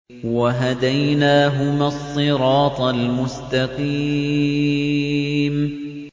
وَهَدَيْنَاهُمَا الصِّرَاطَ الْمُسْتَقِيمَ